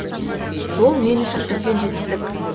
бұл мен үшін үлкен жетістік